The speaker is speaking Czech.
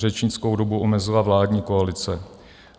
Řečnickou dobu omezila vládní koalice.